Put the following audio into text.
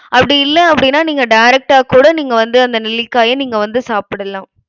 அப்டி இல்ல அப்டினா நீங்க direct ஆ கூட நீங்க வந்து அந்த நெல்லிக்காய்ய நீங்க வந்து சாப்புடலாம்.